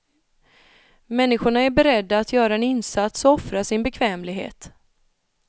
Människorna är beredda att göra en insats och offra sin bekvämlighet.